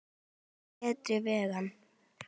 Til betri vegar.